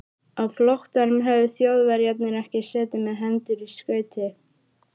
Á flóttanum höfðu Þjóðverjarnir ekki setið með hendur í skauti.